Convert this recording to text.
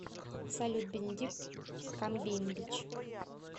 салют бенедикт камбембич